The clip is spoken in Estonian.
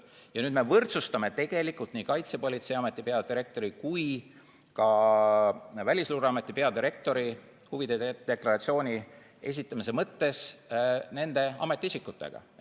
Ja nüüd me võrdsustame tegelikult nii Kaitsepolitseiameti peadirektori kui ka Välisluureameti peadirektori huvide deklaratsiooni esitamise mõttes nende ametiisikutega.